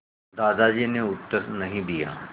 दादाजी ने उत्तर नहीं दिया